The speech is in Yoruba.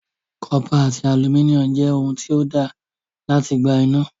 Cọ́pà àti alumíníọ̀mù jẹ́ ohun tí ó dáa láti gba iná.